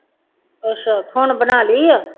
ਅੱਛਾ ਹੁਣ ਬਣਾ ਲਈ ਆ